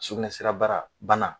Sukunɛsira bara bana